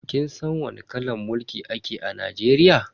Kin san wani kalan mulki ake a Najeriya?